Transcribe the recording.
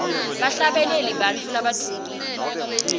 bahlabeleli bantfu labadvumile